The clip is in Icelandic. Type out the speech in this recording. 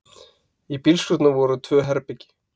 Í bílskúrnum voru tvö herbergi.